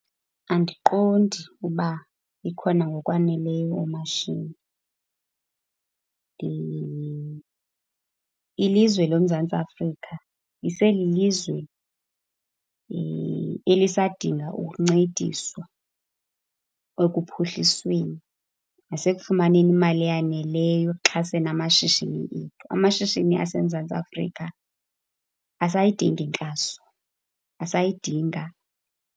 Andiqondi uba ikhona ngokwaneleyo oomashini . Ilizwe loMzantsi Afrika iselilizwe elisadinga ukuncediswa ekuphuhlisweni nasekufumaneni imali eyaneleyo ekuxhaseni amashishini ethu. Amashishini aseMzantsi Afrika asayidinga inkxaso, asayidinga.